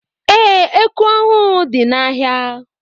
Ee, eku ọhụụ dị n'ahịa.